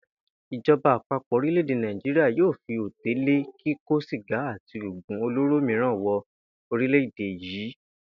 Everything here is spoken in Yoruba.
Ìjo̩ba àpapò̩ orílè̩-èdè Nàìjíría yóò fi òté lé kíkó sìgá àti oògùn-olóró miiran wo̩ orílè̩-èdè yìí